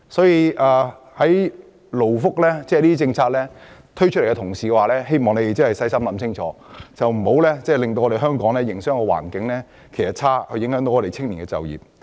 因此，政府推出勞工福利政策時，必須細心研究，以免令香港營商環境變差，影響青年人就業。